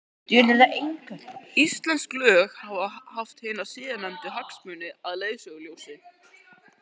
Íslensk lög hafa haft hina síðarnefndu hagsmuni að leiðarljósi.